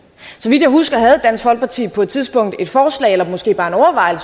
så vidt jeg husker havde dansk folkeparti på et tidspunkt et forslag eller måske bare en